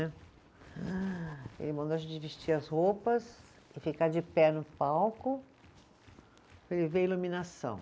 Ele mandou a gente vestir as roupas e ficar de pé no palco para ele ver a iluminação.